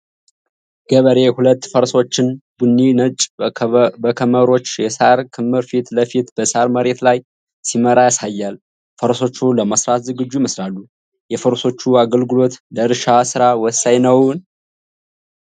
ገበሬ ሁለት ፈረሶችን (ቡኒና ነጭ) በከመሮች (የሳር ክምር) ፊት ለፊት በሳር መሬት ላይ ሲመራ ያሳያል። ፈረሶቹ ለመስራት ዝግጁ ይመስላሉ። የፈረሶቹ አገልግሎት ለእርሻ ስራ ወሳኝ ነው?